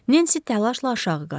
Nensi təlaşla aşağı qaçdı.